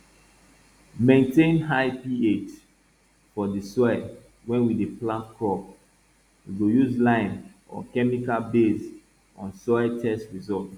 maintain high ph for for di soil wey we dey plant crop we go use lime or chemical based on soil test result